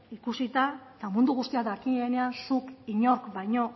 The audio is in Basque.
ikusita eta mundu guztia dakienean zuk inork baino